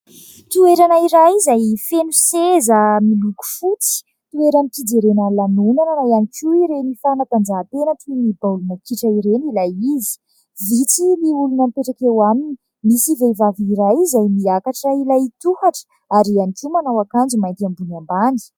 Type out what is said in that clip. Toerana iray izay feno seza miloko fotsy. Toeram-pijerena lanonana na ihany koa ireny fanatanjahantena toy ny baolina kitra ireny ilay izy. Vitsy moa ny olona mipetraka eo aminy, misy vehivavy iray izay miakatra ilay tohatra ary ihany koa manao akanjo mainty ambony ambany.